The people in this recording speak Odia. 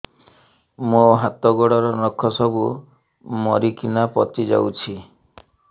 ମୋ ହାତ ଗୋଡର ନଖ ସବୁ ମରିକିନା ପଚି ଯାଉଛି